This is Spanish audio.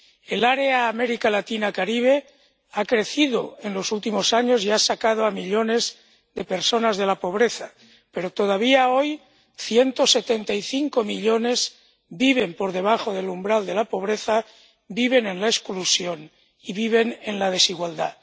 El área América Latina Caribe ha crecido en los últimos años y ha sacado a millones de personas de la pobreza, pero todavía hoy 175 millones viven por debajo del umbral de la pobreza, viven en la exclusión y viven en la desigualdad.